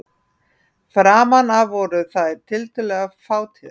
Framan af voru þær tiltölulega fátíðar.